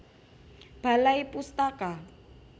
Balai Pustaka